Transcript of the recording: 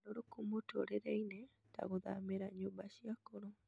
ũgarũrũku mũtũũrĩre-inĩ ta gũthamĩra nyũmba cia akũrũ.